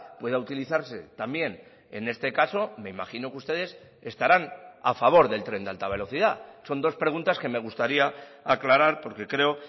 pueda utilizarse también en este caso me imagino que ustedes estarán a favor del tren de alta velocidad son dos preguntas que me gustaría aclarar porque creo